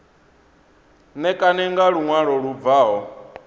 ṋekane nga luṅwalo lu bvaho